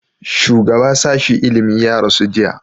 shugaba sashi ilimi ya rasu jiya